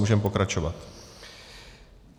Můžeme pokračovat.